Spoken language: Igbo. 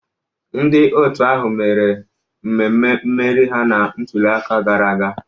Ndị otu ahụ mere mmemme mmeri ha na ntuliaka gara aga.